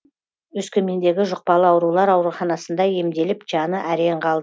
өскемендегі жұқпалы аурулар ауруханасында емделіп жаны әрең